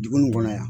Dugu nin kɔnɔ yan